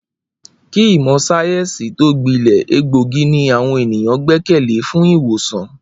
Kí ìmò̩ sáyé̩ǹsì tó gbile̩, egbòogi ni àwo̩n ènìyàn gbé̩kè̩lé fún ì̀wòsàn